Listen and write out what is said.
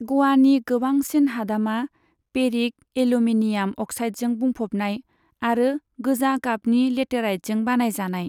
ग'वानि गोबांसिन हादामा फेरिक एल्युमिनियाम अक्साइडजों बुंफबनाय आरो गोजा गाबनि लेटेराइटजों बानायजानाय।